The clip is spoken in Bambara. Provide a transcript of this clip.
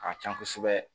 A ka can kosɛbɛ